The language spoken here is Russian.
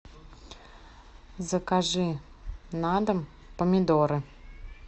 закажи на дом помидоры